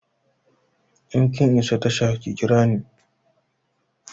In kin isa tasha ki kira ni!